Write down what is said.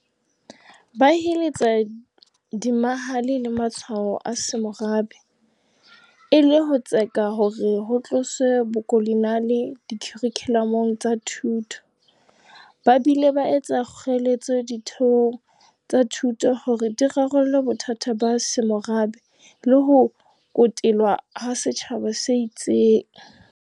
Ba heletsa diemahale le matshwao a semorabe, e le ho tseka hore ho tloswe bokoloniale dikharikhulamong tsa thuto, ba bile ba etsa kgoeletso ditheong tsa thuto hore di rarolle bothata ba semorabe le ho kotelwa ha setjhaba se itseng.